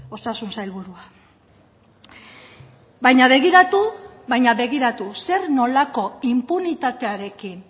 osasun sailburua baina begiratu baina begiratu zer nolako inpunitatearekin